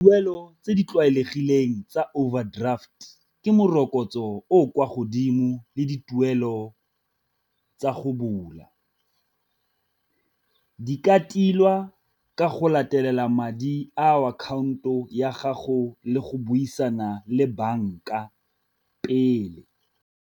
Tuelo tse di tlwaelegileng tsa overdraft ke morokotso o o kwa godimo le dituelo tsa go bula, di ka tilwa ka go latelela madi a akhaonto ya gago le go buisana le banka pele.